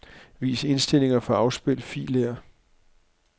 Vis indstillinger for afspil filer.